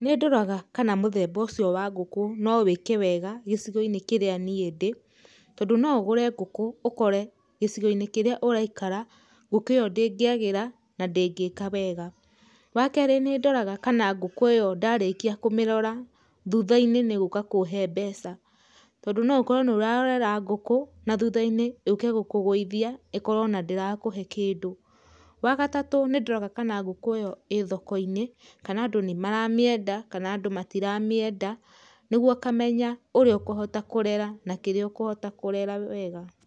Nĩ ndoraga kana mũthemba ũcio wa ngũkũ no wĩke wega gĩcigo-inĩ kĩrĩa niĩ ndĩ, tondũ no ũgũre ngũkũ ũkore gĩcigo-inĩ kĩrĩa ũraikara, ngũkũ ĩyo ndĩngĩagĩra, na ndĩngĩka wega. Wa kerĩ nĩ ndoraga kana ngũkũ ĩyo ndarĩkia kũmĩrora thutha-inĩ nĩ ĩgũka kũhe mbeca. Tondũ no ũkorwo nĩ ũrarora ngũkũ na thutha-inĩ yũke gũkũgũithia, ĩkorwo ĩna ndĩrakũhe kĩndũ. Wa gatatũ nĩ ndoraga kana ngũkũ ĩyo ĩ thoko-inĩ, kana andũ nĩ maramĩenda, kana andũ matiramĩenda, nĩguo ũkamenya ũria ũkũhota kũrera na kĩrĩa ũkũhota kũrera wega.